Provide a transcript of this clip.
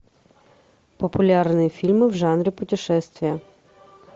популярные фильмы в жанре путешествие